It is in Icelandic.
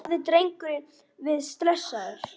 Hafði drengurinn verið stressaður?